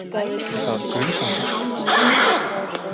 Geta ekki gert allt í einu